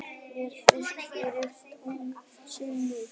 Mér þykir þó fyrri tilgátan sennilegri.